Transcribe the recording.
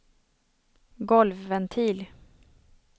golvventil